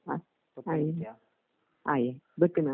അഹ്. അയ് അയി ബെക്കുനാ.